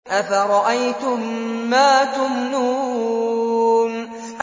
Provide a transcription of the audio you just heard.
أَفَرَأَيْتُم مَّا تُمْنُونَ